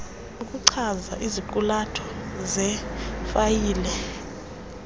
okuchaza iziqulatho zefayile